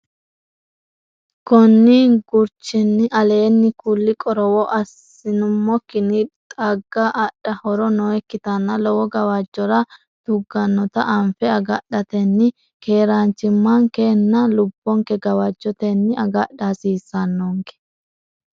Konni gurchinni aleenni kulli qorowo assi- nummokkinni xagga adha horo nookkitanna lowo gawajjora tuggannota anfe agadhatenni keeraanchimmankenna lubbonke gawajjotenni agadha hasiissannonke.